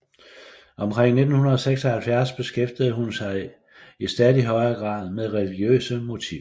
Omkring 1976 beskæftigede hun sig i stadig højere grad med religiøse motiver